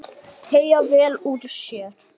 Teygja vel úr sér.